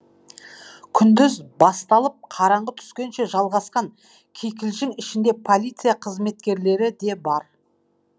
күндіз басталып қараңғы түскенше жалғасқан кикілжің ішінде полиция қызметкерлері де бар